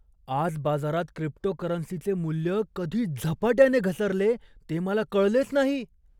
आज बाजारात क्रिप्टोकरन्सीचे मूल्य कधी झपाट्याने घसरले ते मला कळलेच नाही.